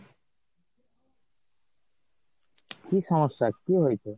কি সমস্যা কি হয়েছে ?